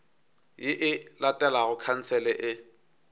ye e latelago khansele e